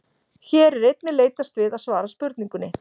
Hér er einnig leitast við að svara spurningunni: